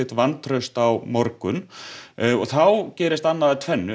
vantraust á morgun þá gerist annað af tvennu